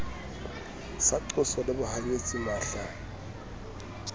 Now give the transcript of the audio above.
sa qoso le bohanyetsi mahla